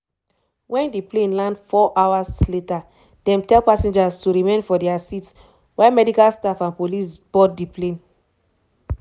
wen di plane land four hours later dem tell passengers to remain for dia seats while medical staff and police board di plane.